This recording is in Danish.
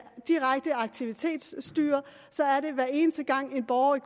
det direkte aktivitetsstyret så er det hver eneste gang en borger